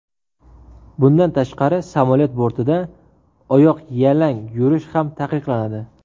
Bundan tashqari samolyot bortida oyoqyalang yurish ham taqiqlanadi.